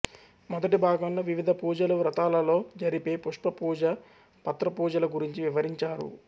మొదటి భాగంలో వివిధ పూజలు వ్రతాలలో జరిపే పుష్ప పూజ పత్ర పూజల గురించి వివరించారు